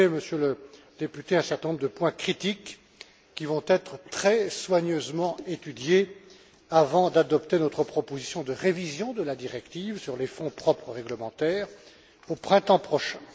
Vous soulevez, Monsieur le député, un certain nombre de points critiques qui vont être très soigneusement étudiés avant que soit adoptée notre proposition de révision de la directive sur les fonds propres réglementaires au printemps prochain.